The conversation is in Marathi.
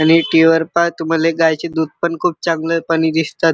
आणि टि.व्ही. वर पहा तुम्हाले गाईचे दुध पण खुप चांगलेपणी दिसतात.